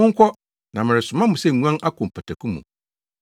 Monkɔ, na meresoma mo sɛ nguan akɔ mpataku mu.